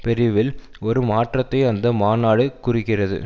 பிரிவில் ஒரு மாற்றத்தை அந்த மாநாடு குறிக்கிறது